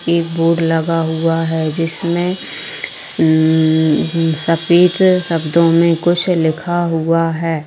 एक बोर्ड लगा हुआ है जिसमें शन सफेद शब्दो में कुछ लिखा हुआ है।